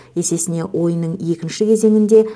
есесіне ойынның екінші кезеңінде